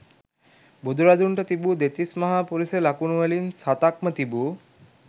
බුදුරදුන්ට තිබූ දෙතිස් මහා පුරිස ලකුණු වලින් සතක්ම තිබූ